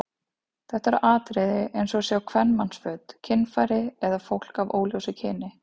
Þetta eru atriði eins og að sjá kvenmannsföt, kynfæri eða fólk af óljósu kyni.